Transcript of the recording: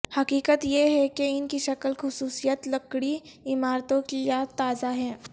حقیقت یہ ہے کہ ان کی شکل خصوصیت لکڑی عمارتوں کی یاد تازہ ہے